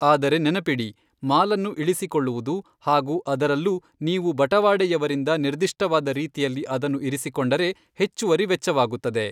ಆದರೆ ನೆನಪಿಡಿ, ಮಾಲನ್ನು ಇಳಿಸಿಕೊಳ್ಳುವುದು, ಹಾಗು ಅದರಲ್ಲೂ ನೀವು ಬಟವಾಡೆಯವರಿಂದ ನಿರ್ದಿಷ್ಟವಾದ ರೀತಿಯಲ್ಲಿ ಅದನ್ನು ಇರಿಸಿಕೊಂಡರೆ, ಹೆಚ್ಚುವರಿ ವೆಚ್ಚವಾಗುತ್ತದೆ.